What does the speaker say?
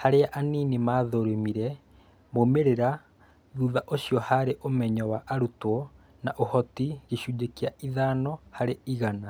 harĩa anini mathurĩmire moimĩrĩra thutha ũcĩo harĩ ũmenyo wa arũtwo na ũhotĩ gĩcunjĩ kĩa ithano harĩ ĩgana.